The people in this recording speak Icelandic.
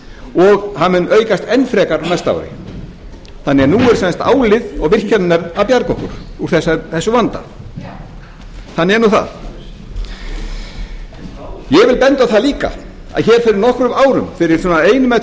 og hann mun aukast enn frekar á næsta ári þannig að nú eru sem sagt álið og virkjanirnar að bjarga okkur úr þessum vanda já þannig er nú það ég vil benda á það líka að hér fyrir nokkrum árum fyrir svona einum eða